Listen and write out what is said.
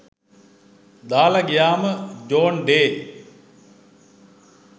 දාලා ගියාම ජෝන් ඩේ